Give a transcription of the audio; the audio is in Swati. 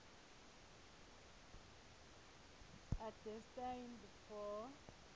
are destined for